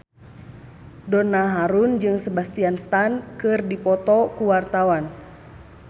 Donna Harun jeung Sebastian Stan keur dipoto ku wartawan